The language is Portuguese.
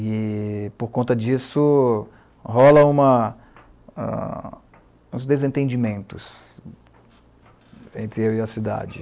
E, por conta disso, rolam uma, uns desentendimentos entre eu e a cidade.